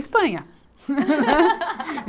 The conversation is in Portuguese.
Espanha!